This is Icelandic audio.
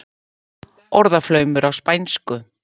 Orðaflaumur á spænsku.